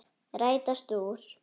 Rætast úr?